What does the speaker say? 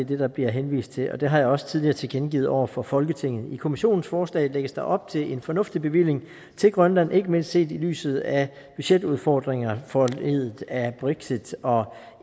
det der bliver henvist til og det har jeg også tidligere tilkendegivet over for folketinget i kommissionens forslag lægges der op til en fornuftig bevilling til grønland ikke mindst set i lyset af budgetudfordringer foranlediget af brexit og